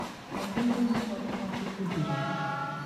Kèdù ìhè ụfọdụ Nwàchùkwù dìrì?